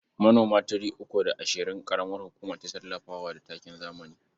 Manoma three uku da ashirin ƙaramar hukuma ta tallafa wa da takin zamani.